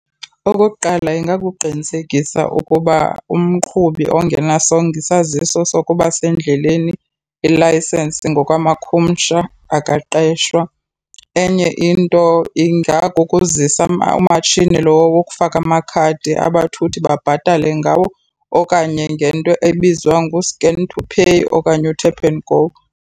Okokuqala, ingakukuqinisekisa ukuba umqhubi ongenasongo isaziso sokuba sendleleni i-license ngokwamakhumsha akaqeshwa. Enye into ingakukuzisa umatshini lo wokufaka amakhadi abathuthi babhatale ngawo okanye ngento ebizwa ngu-scan to pay okanye u-tap and go.